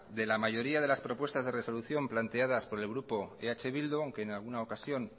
de la mayoría de las propuestas de resolución planteadas por el grupo eh bildu aunque en alguna ocasión